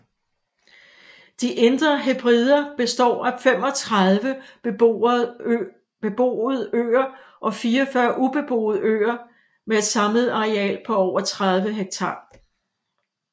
De Indre Hebrider består af 35 beboede øer og 44 ubeboede øer med et samlet areal på over 30 ha